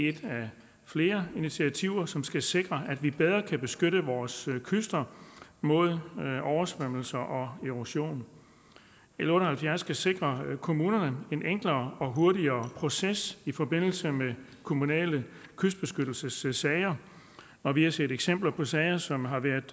er et af flere initiativer som skal sikre at vi bedre kan beskytte vores kyster mod oversvømmelser og erosion l otte og halvfjerds skal sikre kommunerne en enklere og hurtigere proces i forbindelse med kommunale kystbeskyttelsessager og vi har set eksempler på sager som har været